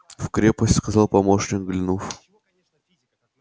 в крепость сказал помощник глянув